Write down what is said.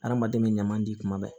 Adamaden bɛ ɲaman di kuma bɛɛ